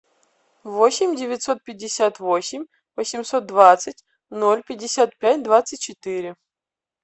восемь девятьсот пятьдесят восемь восемьсот двадцать ноль пятьдесят пять двадцать четыре